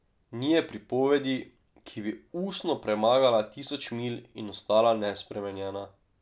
Ni je pripovedi, ki bi ustno premagala tisoč milj in ostala nespremenjena.